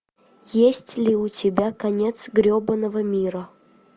есть ли у тебя конец гребанного мира